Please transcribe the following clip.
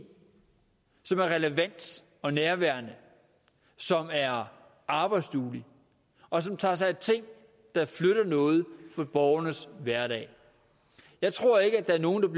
som er relevant og nærværende som er arbejdsduelig og som tager sig af ting der flytter noget i borgernes hverdag jeg tror ikke at der er nogen